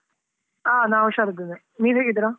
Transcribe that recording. ಆ ನಾ ಹುಷಾರ್ ಇದ್ದೇನೆ, ನೀವು ಹೇಗಿದ್ದೀರಾ?